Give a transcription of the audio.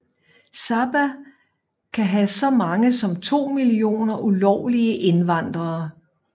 Sabah kan have så mange som 2 millioner ulovlige indvandrere